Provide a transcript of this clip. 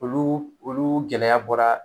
Olu olu gɛlɛya bɔra